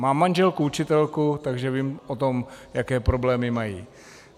Mám manželku učitelku, takže vím o tom, jaké problémy mají.